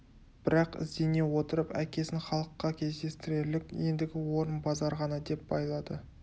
бірақ іздене отырып әкесін халыққа кездестірерлік ендігі орын базар ғана деп байлады